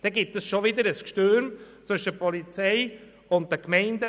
Dann gibt es schon wieder Unstimmigkeiten zwischen der Polizei und den Gemeinden.